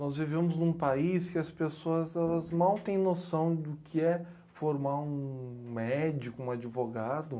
Nós vivemos num país que as pessoas elas mal têm noção do que é formar um médico, um advogado.